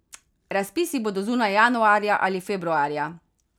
Razpisi bodo zunaj januarja ali februarja.